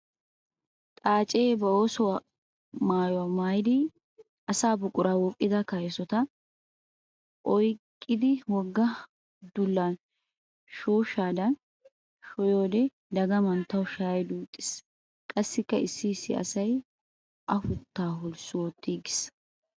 Xaace ba oosuwa maayuwa maayddi asaa buqura wuuqidda kayssotta oyqqiddi wogga dullan shooshshadan sho'iyoode dagam tawu shaya duutis. Qassikka issi issi asay afutta holssu oottigis.